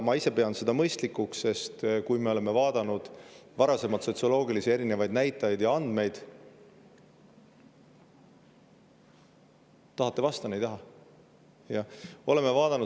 Ma ise pean seda mõistlikuks, sest kui me vaatame varasemaid sotsioloogilisi näitajaid ja andmeid – tahate, et vastan, või ei taha?